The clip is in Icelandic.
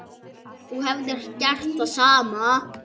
Þú hefðir gert það sama.